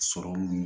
Sɔrɔmu